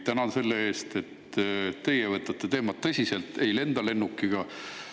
Tänan teid selle eest, et teie võtate teemat tõsiselt ja ei lenda lennukiga.